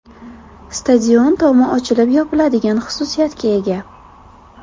Stadion tomi ochilib-yopiladigan xususiyatga ega.